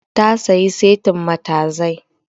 Ta sayi setin matazai